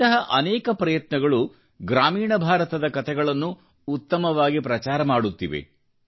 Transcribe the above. ಇಂತಹ ಅನೇಕ ಪ್ರಯತ್ನಗಳು ಗ್ರಾಮೀಣ ಭಾರತದ ಕತೆಗಳನ್ನು ಉತ್ತಮವಾಗಿ ಪ್ರಚಾರ ಮಾಡುತ್ತಿರುವೆ